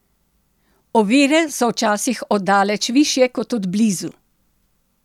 Ovire so včasih od daleč višje kot od blizu!